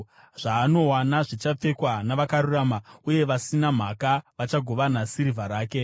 zvaanowana zvichapfekwa navakarurama, uye vasina mhaka vachagovana sirivha yake.